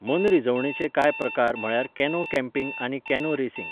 मनरिजवणेचे कांय प्रकार म्हळ्यार कॅनो कॅम्पींग आनी कॅनो रेसींग.